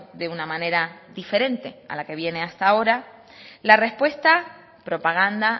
de una manera diferente a la que viene hasta ahora la respuesta propaganda